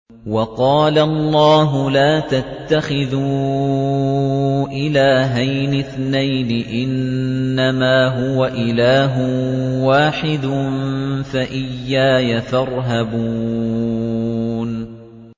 ۞ وَقَالَ اللَّهُ لَا تَتَّخِذُوا إِلَٰهَيْنِ اثْنَيْنِ ۖ إِنَّمَا هُوَ إِلَٰهٌ وَاحِدٌ ۖ فَإِيَّايَ فَارْهَبُونِ